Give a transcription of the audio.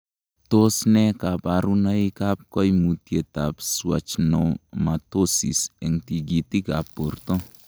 Tos nee koborunoikab koimutietab Schwannomatosis en tikitikab borto?